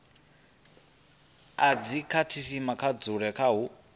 a dzikhasitama hu dzule hu